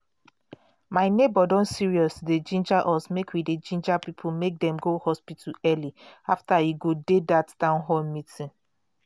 my neighbor don serious to dey ginger us make we dey ginger people make dem go hospital early after e go dat town hall meeting.